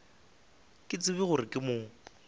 ke tsebe gore ke mo